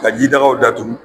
Ka jidagaw tu.